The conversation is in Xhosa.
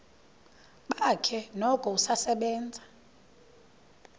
bakhe noko usasebenza